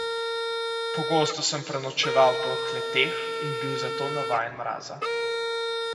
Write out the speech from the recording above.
Pogostoma sem prenočeval po kleteh in bil zato navajen mraza.